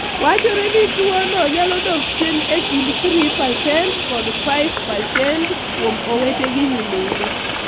Wachore ni tuwono nyalo dok chien e kind 3% kod 5% kuom owete gi nyimine.